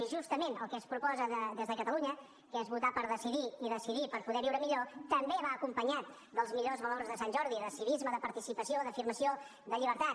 i justament el que es proposa des de catalunya que és votar per decidir i decidir per poder viure millor també va acompanyat dels millors valors de sant jordi de civisme de participació d’afirmació de llibertat